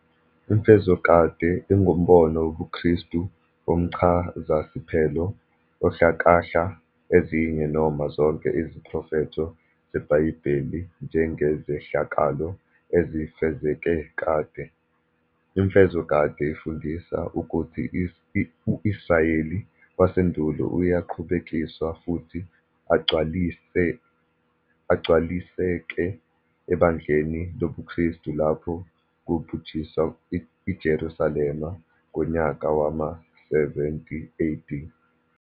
IMfezokade, ingumbono wobuKristu womchazasiphelo, ohlakahla ezinye noma zonke iziprofetho zebhayibheli njengezehlakalo ezifezeke kade. Imfezokade ifundisa ukuthi uIsrayeli wasendulo uyaqhubekiswa futhi agcwaliseke ebandleni lobukristu lapho kubhujiswa iJerusalema ngonyaka wama-7OAD.